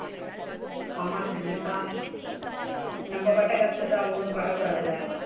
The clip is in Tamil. ஆமா கண்டிப்பா, நம்ம பட்ட கஷ்டத்த அவுங்களும் பட கூடாதுல.